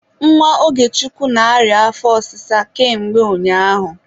Nwa Ogechukwu na-arịa afọ ọsịsa ka mgbe ụnyaahụ